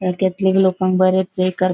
केथलिक लोकांक बरे प्रे करप --